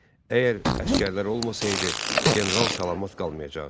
Əgər əsgərlər olmasaydı, general salamat qalmayacaqdı.